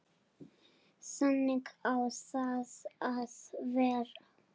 Þannig á það að vera.